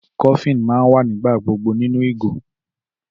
Coffin ma n wa nígbà gbogbo nínú ìgò